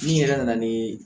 Ni yɛrɛ nana ni